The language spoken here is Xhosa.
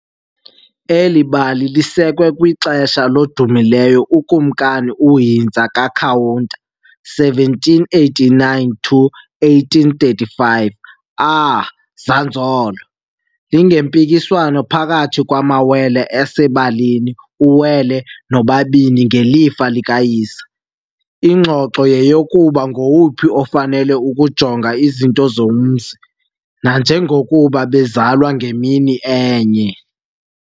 Eli bali lisekwe kwixesha lodumileyo uKumkani uHintsa kaKhawuta, 1789-1835, Aah, Zanzolo !!!, lingempikiswano phakathi kwamawele asebalini uWele noBabini ngelifa likayise. Ingxoxo yeyokuba ngowuphi ofanele ukujonga izinto zomzi, nanjengokuba bezalwe ngemini enye.